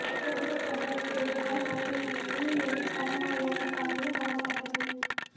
சுங்க கட்டணம் கேட்டதால் ஆத்திரம் ஊழியரை சரமாரியாக தாக்கிய மர்ம நபர்கள்